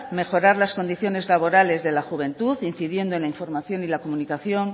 mejorar las condiciones laborales de la juventud incidiendo en la información y la comunicación